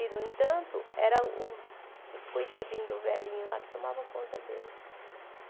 E, no entanto, era o o coitadinho do velhinho lá que tomava conta dele.